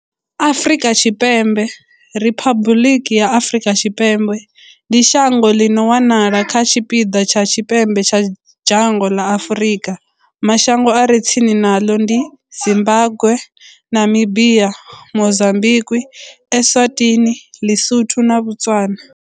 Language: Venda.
Afrika Tshipembe, Riphabuḽiki ya Afrika Tshipembe, ndi shango ḽi no wanala kha tshipiḓa tsha tshipembe tsha dzhango ḽa Afurika. Mashango a re tsini naḽo ndi Zimbagwe, Namibia, Mozambikwi, Eswatini, ḼiSotho na Botswana.